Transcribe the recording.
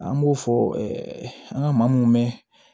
An b'o fɔ an ka maa mun mɛ